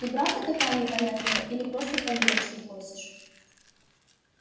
ты правда такая непонятливая или просто под дурочку косишь